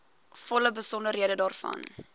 volle besonderhede daarvan